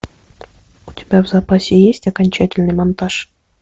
у тебя в запасе есть окончательный монтаж